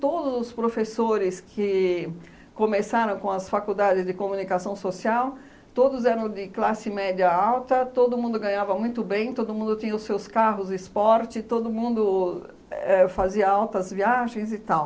Todos os professores que começaram com as Faculdades de Comunicação Social, todos eram de classe média alta, todo mundo ganhava muito bem, todo mundo tinha os seus carros de esporte, todo mundo éh fazia altas viagens e tal.